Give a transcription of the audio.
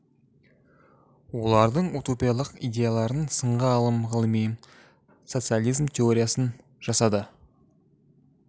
олардың утопиялық идеяларын сынға алып ғылыми социализм теориясын жасады